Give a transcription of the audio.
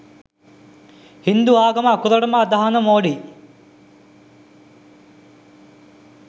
හින්දු ආගම අකුරටම අදහන මෝඩි